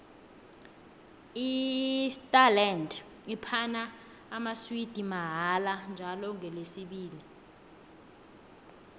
isterland iphana amaswidi mahala njalo ngolesibili